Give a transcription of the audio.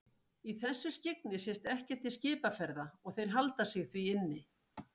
Í þessu skyggni sést ekkert til skipaferða og þeir halda sig því inni.